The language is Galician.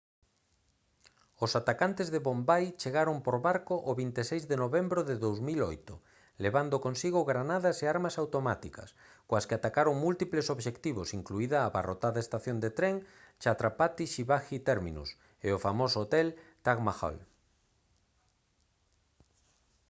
os atacantes de bombai chegaron por barco o 26 de novembro de 2008 levando consigo granadas e armas automáticas coas que atacaron múltiples obxectivos incluída a abarrotada estación de tren chhatrapati shivaji terminus e o famoso hotel taj mahal